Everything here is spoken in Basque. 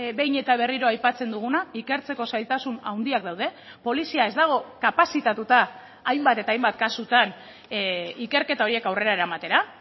behin eta berriro aipatzen duguna ikertzeko zailtasun handiak daude polizia ez dago kapazitatuta hainbat eta hainbat kasutan ikerketa horiek aurrera eramatera